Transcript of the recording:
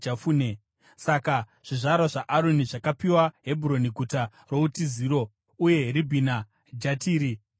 Saka zvizvarwa zvaAroni zvakapiwa Hebhuroni (Guta routiziro) uye Ribhina, Jatiri, Eshitemoa,